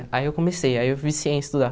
Aí eu comecei, aí eu viciei em estudar